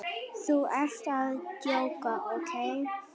Þú ert að djóka, ókei?